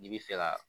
N'i bi fɛ ka